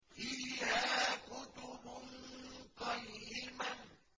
فِيهَا كُتُبٌ قَيِّمَةٌ